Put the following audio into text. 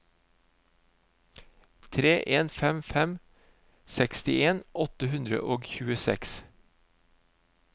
tre en fem fem sekstien åtte hundre og tjueseks